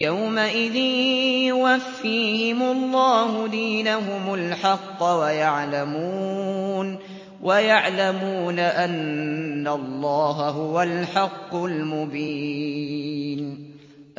يَوْمَئِذٍ يُوَفِّيهِمُ اللَّهُ دِينَهُمُ الْحَقَّ وَيَعْلَمُونَ أَنَّ اللَّهَ هُوَ الْحَقُّ الْمُبِينُ